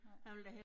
Nej